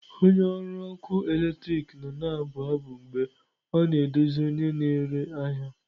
Onye ọrụ ọkụ eletrik nọ na-abụ abụ mgbe ọ na-edozi onye na-ere ahịa.